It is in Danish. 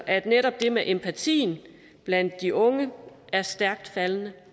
at netop det med empatien blandt de unge er stærkt faldende